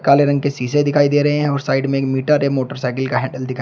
काले रंग के शीशे दिखाई दे रहे हैं और साइड में एक मीटर है मोटर साइकिल का हैंडल दिखाई--